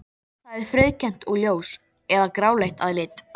Það er frauðkennt og ljós- eða gráleitt að lit.